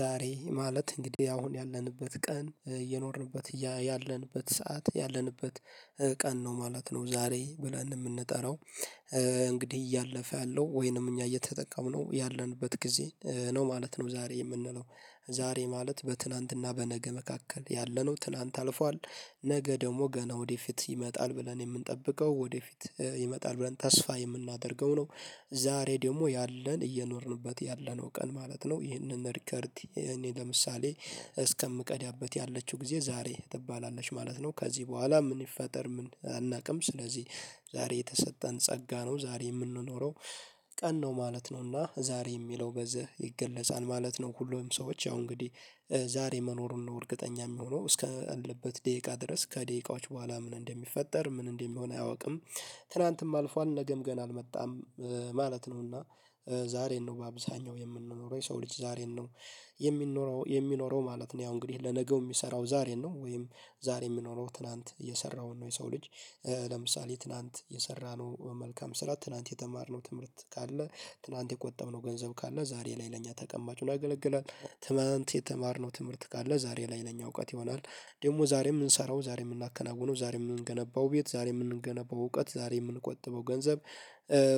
ዛሬ ማለት እንግዲህ አሁን ያለንበት ቀን የኖርንበት ያለንበት ሰዓት ያለንበት ቀን ነው ማለት ነው ዛሬ ብለን የምንጠራው። እንግዲህ እያለፈ ያለው ወይንም እኛ እየተጠቀምነው ያለንበት ጊዜ ነው ማለት ነው። ዛሬ የምንለው ዛሬ ማለት በትላንትና በነገ መካከል ያለነው ትላንት አልፏል ነገ ደግሞ ገና ወደፊት ይመጣል ብለን የምንጠብቀው ወደፊት ይመጣል ብለን ተስፋ የምናደርገው ነው። ዛሬ ደግሞ ያለን እየኖርንበት ያለነው ቀን ማለት ነው ይህንን እሪከርድ። ለምሳሌ እስከምቀዳበት ያለችው ጊዜ ዛሬ ትባላለች ማለት ነው። ከዚህ በኋላ ምን ይፈጠር ምን አናውቅም ስለዚህ። ዛሬ የተሰጠን ጸጋ ነው ዛሬ የምንኖረው ቀን ነው ማለት ነውና ዛሬ የሚለው በዚህ ይገለጻል ማለት ነው። ሁሉም ሰዎች ያው እንግዲህ ዛሬ መኖሩን ነው እርግጠኛ የሚሆነው እስከ አለበት ደቂቃ ድረስ ከደቂቃዎች በኋላ ምን እንደሚፈጠር ምን እንደሚሆን አያውቅም። ትላንትም አልፏል ነገም ገና አልመጣም። ማለት ነው። እና ዛሬን ነው በአብዛኛው የምንኖረው የሰው ልጅ ዛሬን ነው የሚኖረው የሚኖረው ማለት ነው። ያው እንግዲህ ለነገው የሚሰራው ዛሬን ነው ወይም ዛሬ የሚኖረው ትላንት የሰራውን ነው የሰው ልጅ። ለምሳሌ ትላንት የሰራነው መልካም ስራ ትላንት የተማርነው ትምህርት ካለ ትላንት የቆጠብነው ገንዘብ ካለ ዛሬ ላይ ለእኛ ተቀማጭ ያገለግላል። ትላንት የተማርነው ትምህርት ካለ ዛሬ ላይ ለእኛ እውቀት ይሆናል። ደግሞ ዛሬ የምንሰራው ዛሬ የምናከናውነው ዛሬ የምንገነባው ቤት ዛሬ የምንገነባው እውቀት ዛሬ የምንቆጥበው ገንዘብ።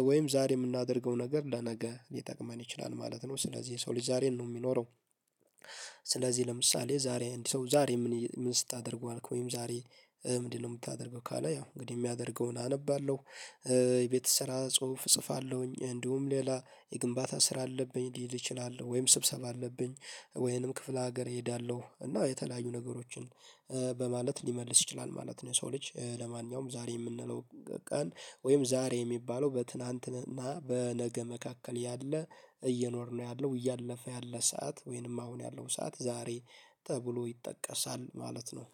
ወይም ዛሬ የምናደርገው ነገር ለነገ ሊጠቅመን ይችላል ማለት ነው። ስለዚህ የሰው ልጅ ዛሬ ነው የሚኖረው። ስለዚህ ለምሳሌ ዛሬ አንድ ሰው ዛሬ ምን ስታደርግ ዋአልክ ወይም ዛሬ? ምንድነው የምታደርገው ካለ። ያው እንግዲህ የሚያደርገውን አነባለሁ። የቤት ስራ ጽሁፍ እጽፋለሁኝ እንዲሁም ሌላ የግንባታ ስራ አለብኝ ሊሄድ እችላለሁ ወይም ስብሰባ አለብኝ። ወይንም ክፍለ ሀገር እሄዳለሁ እና የተለያዩ ነገሮችን በማለት ሊመልስ ይችላል ማለት ነው። ሰው ልጅ ለማንኛውም ዛሬ የምንለው። ቀን ወይም ዛሬ የሚባለው በትናንትና በነገ መካከል ያለ እየኖርነው ያለው እያለፈ ያለ ሰዓት ወይንም አሁን ያለው ሰዓት ዛሬ ተብሎ ይጠቀሳል ማለት ነው።